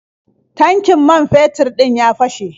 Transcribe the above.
Tankin man fetur ɗin ya fashe.